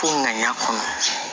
Ko ŋaniya kɔnɔ